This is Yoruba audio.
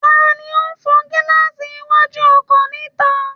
Ta ni ó ń fọ gílaààsì iwájú ọkọ̀ níta